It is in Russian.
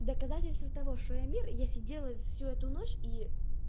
доказательство того что я мир я сидела всю эту ночь и